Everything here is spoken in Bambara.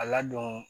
A ladon